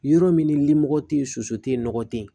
Yɔrɔ min ni limɔgɔ tɛ yen soso tɛ yen nɔgɔ tɛ ye